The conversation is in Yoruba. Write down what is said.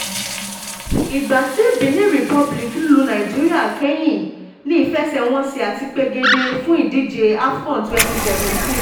ìgbà tí benin republic lu nàìjíríà kẹ́yìn ní ìfẹsẹ̀wọnsẹ̀ àti pegedé fún ìdíje af con twenty seventeen